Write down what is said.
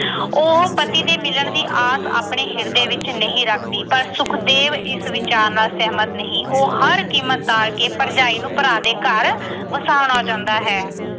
ਉਹ ਪਤੀ ਦੇ ਮਿਲਣ ਦੀ ਆਸ ਆਪਣੇ ਹਿਰਦੇ ਵਿੱਚ ਨਹੀਂ ਰੱਖਦੀ। ਪਰ ਸੁਖਦੇਵ ਇਸ ਵਿਚਾਰ ਨਾਲ ਸਹਿਮਤ ਨਹੀਂ। ਉਹ ਹਰ ਕੀਮਤ ਤੇ ਭਰਜਾਈ ਨੂੰ ਭਰਾ ਦੇ ਘਰ ਵਸਾਉਣਾ ਚਾਹੁੰਦਾ ਹੈ।